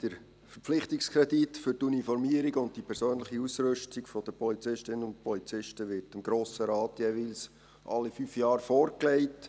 Der Verpflichtungskredit für die Uniformierung und für die persönliche Ausrüstung der Polizistinnen und Polizisten wir dem Grossen Rat jeweils alle fünf Jahre vorgelegt.